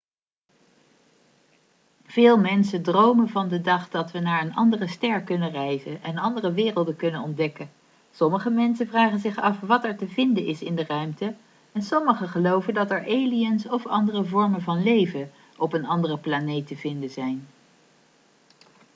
veel mensen dromen van de dag dat we naar een andere ster kunnen reizen en andere werelden kunnen ontdekken sommige mensen vragen zich af wat er te vinden is in de ruimte en sommigen geloven dat er aliens of andere vormen van leven op een andere planeet te vinden zijn